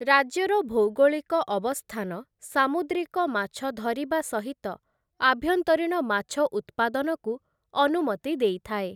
ରାଜ୍ୟର ଭୌଗୋଳିକ ଅବସ୍ଥାନ ସାମୁଦ୍ରିକ ମାଛ ଧରିବା ସହିତ ଆଭ୍ୟନ୍ତରୀଣ ମାଛ ଉତ୍ପାଦନକୁ ଅନୁମତି ଦେଇଥାଏ ।